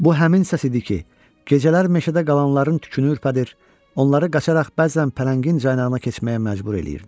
Bu həmin səs idi ki, gecələr meşədə qalanların tükünü ürpədir, onları qaçaraq bəzən Pələngin caynağına keçməyə məcbur eləyirdi.